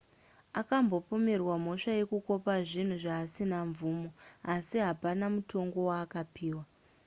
akambopomerwa mhosva yekukopa zvinhu zvaasina mvumo asi hapana mutongo waakapiwa